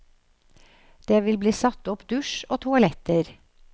Det vil bli satt opp dusj og toaletter.